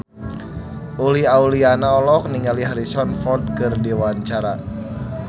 Uli Auliani olohok ningali Harrison Ford keur diwawancara